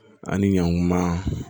Ani ɲankuma